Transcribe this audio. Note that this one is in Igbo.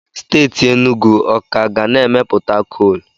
Steeti Enugu ọ ka ga na-emepụta koolu?